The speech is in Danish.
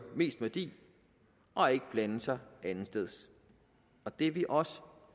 mest værdi og ikke blande sig andetsteds og det er vi også